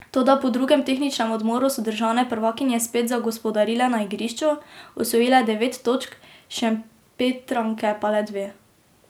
Toda po drugem tehničnem odmoru so državne prvakinje spet zagospodarile na igrišču, osvojile devet točk, Šempetranke pa le dve.